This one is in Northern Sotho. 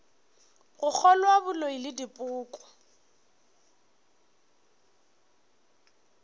go kgolwa boloi le dipoko